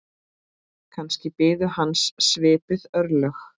Kannski biðu hans svipuð örlög.